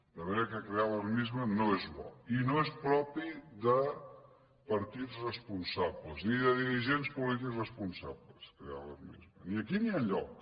de manera que crear alarmisme no és bo i no és propi de partits responsables ni de dirigents polítics responsables crear a alarmisme ni aquí ni enlloc